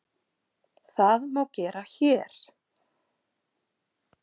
Það má gera HÉR.